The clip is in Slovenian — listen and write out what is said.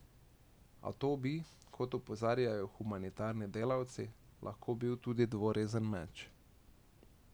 A to bi, kot opozarjajo humanitarni delavci, lahko bil tudi dvorezen meč.